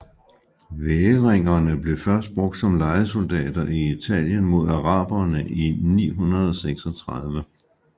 Væringerne blev først brugt som lejesoldater i Italien mod arabere i 936